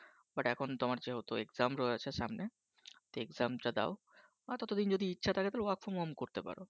But এখন যেহেতু তোমার Exam রয়েছে সামনে তো Exam টা দাও আর ততদিন যদি ইচ্ছা থাকে তাহলে Work From Home করতে পারো।